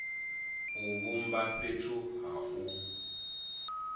u vhumba fhethu ha u